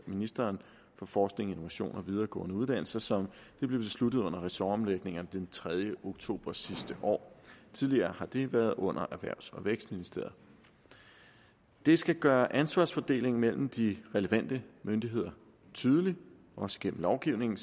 ministeren for forskning og innovation og videregående uddannelser som det blev besluttet under ressortomlægningerne den tredje oktober sidste år tidligere har det været under erhvervs og vækstministeriet det skal gøre ansvarsfordelingen mellem de relevante myndigheder tydelig også gennem lovgivningen